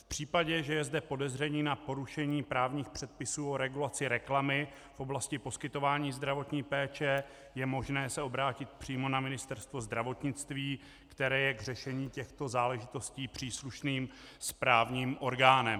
V případě, že je zde podezření na porušení právních předpisů o regulaci reklamy v oblasti poskytování zdravotní péče, je možné se obrátit přímo na Ministerstvo zdravotnictví, které je k řešení těchto záležitostí příslušným správním orgánem.